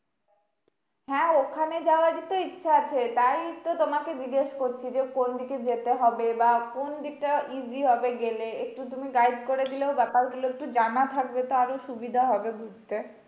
হ্যাঁ ওখানে যাওয়ারই তো ইচ্ছা আছে, তাই তো তোমাকে জিজ্ঞেস করছি যে কোন দিকে যেতে হবে? বা কোন দিকটা easy হবে গেলে? একটু তুমি guide করে দিলেও ব্যাপারগুলো একটু জানা থাকবে তো আরও সুবিধা হবে ঘুরতে।